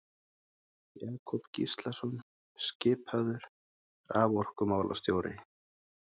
Jakob Gíslason skipaður raforkumálastjóri.